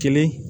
Kelen